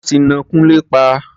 Wọ́n ti ná Kúnlé pa.